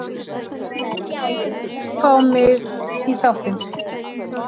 unni fá mig í þáttinn?